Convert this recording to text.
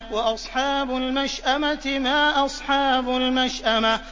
وَأَصْحَابُ الْمَشْأَمَةِ مَا أَصْحَابُ الْمَشْأَمَةِ